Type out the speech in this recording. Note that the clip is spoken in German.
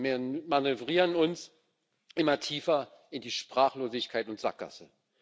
Wir manövrieren uns immer tiefer in die Sprachlosigkeit und Sackgasse.